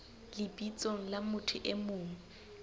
lebitsong la motho e mong